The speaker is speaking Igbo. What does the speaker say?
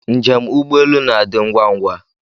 Njé m ụgbọelu na-adị ngwá ngwá